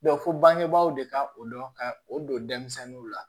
fo bangebaaw de ka o dɔn ka o don denmisɛnninw la